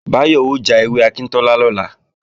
Báyọ̀ ó já ewé akíntọ́lá lọ́la